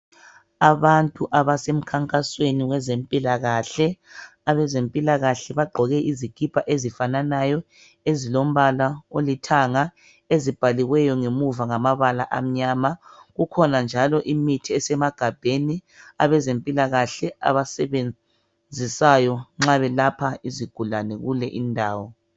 Abantu abasemkhankasweni wezempilakahle. Abezempilakahle bagqoke izikipa ezifananayo. Ezilombala olithanga. Ezibhaliweyo ngemuva ngamabala amnyama. Kukhona njalo imithi esemagabheni. Abezempilakahle abasebenzisayo, nxa belapha, izigulane kule indawo.